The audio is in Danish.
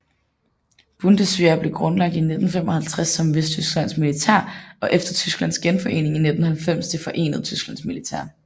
Bundeswehr blev grundlagt i 1955 som Vesttysklands militær og efter Tysklands genforening i 1990 det forenede Tysklands militær